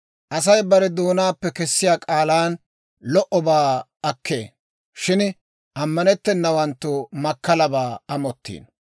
Asay bare doonaappe kesiyaa k'aalan lo"obaa akkee; shin ammanttennawanttu makkalabaa amottiino.